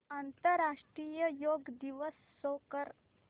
आंतरराष्ट्रीय योग दिवस शो कर